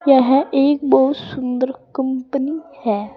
यह एक बहुत सुंदर कंपनी है।